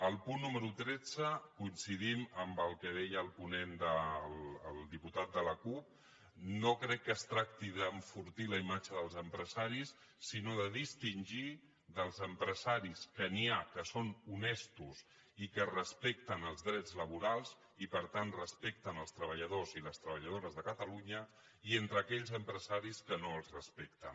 al punt número disset coincidim amb el que deia el ponent el diputat de la cup no crec que es tracti d’enfortir la imatge dels empresaris sinó de distingir dels empresaris que n’hi ha que són honestos i que respecten els drets laborals i per tant respecten els treballadors i les treballadores de catalunya i entre aquells empresaris que no els respecten